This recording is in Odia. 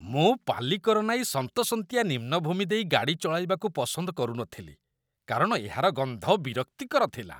ମୁଁ ପାଲିକରନାଇ ସନ୍ତସନ୍ତିଆ ନିମ୍ନ ଭୂମି ଦେଇ ଗାଡ଼ି ଚଳାଇବାକୁ ପସନ୍ଦ କରୁନଥିଲି କାରଣ ଏହାର ଗନ୍ଧ ବିରକ୍ତିକର ଥିଲା।